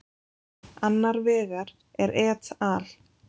Annar vegar er et al.